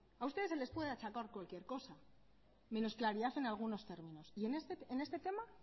a ustedes se les puede achacar cualquier cosa menos claridad en algunos términos y en este tema